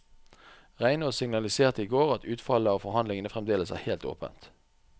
Reinås signaliserte i går at utfallet av forhandlingene fremdeles er helt åpent.